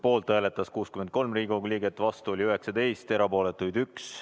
Poolt hääletas 63 Riigikogu liiget, vastu oli 19, erapooletuid 1.